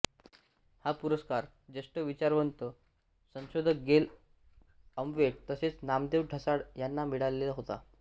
हा पुरस्कार ज्येष्ठ विचारवंत संशोधक गेल ऑम्वेट तसेच नामदेव ढसाळ यांना मिळालेला होता